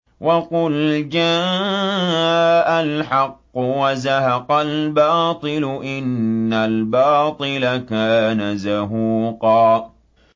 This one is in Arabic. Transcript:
وَقُلْ جَاءَ الْحَقُّ وَزَهَقَ الْبَاطِلُ ۚ إِنَّ الْبَاطِلَ كَانَ زَهُوقًا